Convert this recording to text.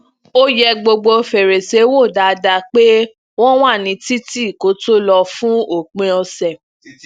ó yẹ gbogbo fèrèsé wò dáadáa pe wọn wa ni titi kó tó lọ fun opin ọsẹ